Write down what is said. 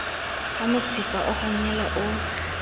ha mosifa o honyela o